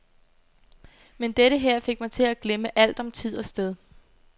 Men dette her fik mig til at glemme alt om tid og sted.